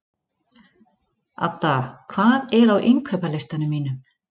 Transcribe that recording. Adda, hvað er á innkaupalistanum mínum?